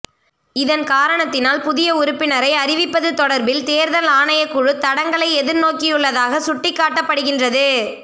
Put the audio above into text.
இதன் காரணத்தினால் புதிய உறுப்பினரை அறிவிப்பது தொடர்பில் தேர்தல் ஆணைக்குழு தடங்களை எதிர் நோக்கியுள்ளதாக சுட்டிக்காட்டப்படுகின்றது